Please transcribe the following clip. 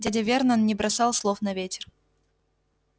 дядя вернон не бросал слов на ветер